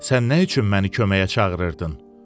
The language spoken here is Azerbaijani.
Sən nə üçün məni köməyə çağırırdın?